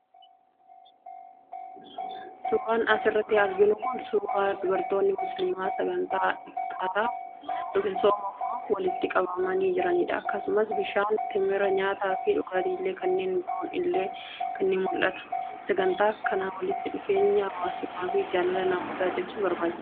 Suuraan as irratti arginu kun suuraa dubartoonni Muslimaa sagantaa ifxaaraaf ( sooma furuuf) walitti qabamanii jiranii dha. Akkasumas, bishaan, temira, nyaataa fi dhugaatiilee kanneen biroon illee ni mul'atu. Sagantaan akkanaa walitti dhufeenya hawaasummaa fi jaalala namootaa cimsuuf barbaachisaa dha.